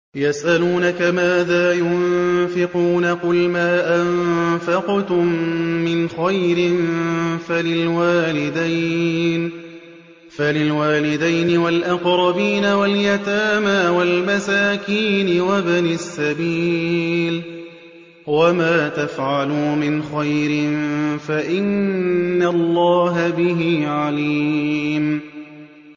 يَسْأَلُونَكَ مَاذَا يُنفِقُونَ ۖ قُلْ مَا أَنفَقْتُم مِّنْ خَيْرٍ فَلِلْوَالِدَيْنِ وَالْأَقْرَبِينَ وَالْيَتَامَىٰ وَالْمَسَاكِينِ وَابْنِ السَّبِيلِ ۗ وَمَا تَفْعَلُوا مِنْ خَيْرٍ فَإِنَّ اللَّهَ بِهِ عَلِيمٌ